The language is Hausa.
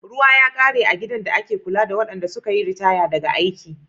Ruwa ya kare a gidan da ake kula da waɗanda suka yi ritaya daga aiki.